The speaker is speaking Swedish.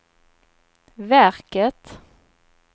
verket